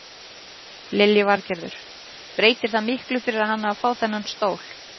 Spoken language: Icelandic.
Lillý Valgerður: Breytir það miklu fyrir hana að fá þennan stól?